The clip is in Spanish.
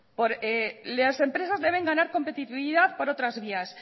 las empresas deben ganar competitividad por otras vías